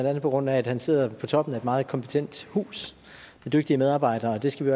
andet på grund af at han sidder på toppen af et meget kompetent hus med dygtige medarbejdere og det skal vi